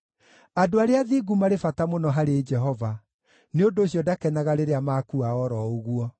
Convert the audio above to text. Andũ arĩa athingu marĩ bata mũno harĩ Jehova, nĩ ũndũ ũcio ndakenaga rĩrĩa makua o ro ũguo.